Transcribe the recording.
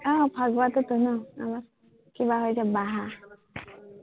আহ ফাগুৱাটোতো ন আমাৰ, কিা হয় যে বাহ